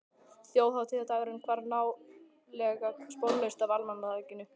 Þjóðhátíðardagurinn hvarf nálega sporlaust af almanakinu.